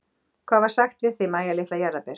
Hvað var sagt við þig, Mæja litla jarðarber?